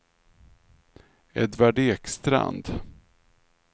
Edvard Ekstrand